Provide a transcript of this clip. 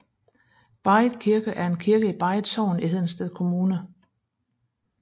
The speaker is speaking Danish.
Barrit Kirke er en kirke i Barrit Sogn i Hedensted Kommune